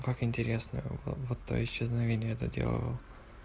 как интересно вот вот исчезновение это делал